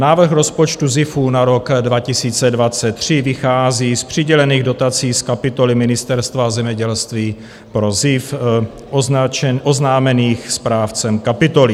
Návrh rozpočtu ZIFu na rok 2023 vychází z přidělených dotací z kapitoly Ministerstva zemědělství pro ZIF oznámených správcem kapitoly.